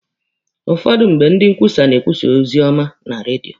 Ụfọdụ mgbe, ndị nkwusa na-ekwusa ozi ọma na redio.